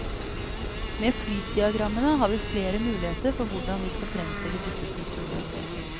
Med flytdiagrammene har vi flere muligheter for hvordan vi skal fremstille disse strukturene.